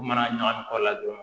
U mana ɲagami kɔlɔn la dɔrɔn